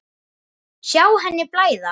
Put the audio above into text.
Sjá henni blæða.